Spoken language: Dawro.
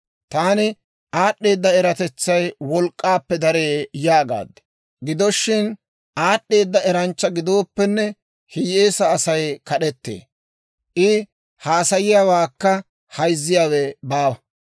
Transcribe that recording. Taani, «Aad'd'eeda eratetsay wolk'k'aappe daree» yaagaad. Gido shin, aad'd'eeda eranchcha gidooppenne, hiyyeesaa Asay kad'ettee; I haasayiyaawaakka hayzziyaawe baawa.